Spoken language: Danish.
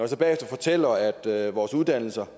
så bagefter fortæller at vores uddannelser